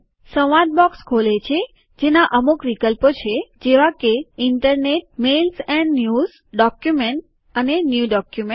સંવાદ બોક્સ ખોલે છે જેનાં અમુક વિકલ્પો છે જેવા કે internet mails and news document અને ન્યુ ડોક્યુમેન્ટ